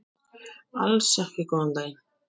Alls ekki góðan daginn.